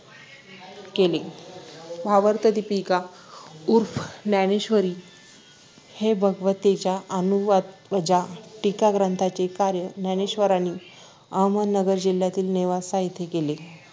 केले भावार्थदीपिका उर्फ ज्ञानेश्वरी हे भगवद्गीतेच्या अनुवादवजा टीका ग्रंथाचे कार्य ज्ञानेश्वरांनी अहमदनगर जिल्ह्यातील नेवासा येथे केले